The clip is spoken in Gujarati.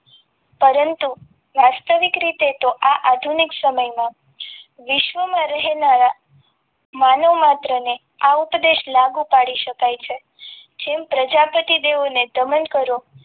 પરંતુ વાસ્તવિક રીતે તો આ આધુનિક સમયમાં વિશ્વમાં રહેલા માનવ માત્રને આ ઉપદેશ લાગુ પાડી શકાય છે જેમ પ્રજાપતિ દેવોને દમન કરો.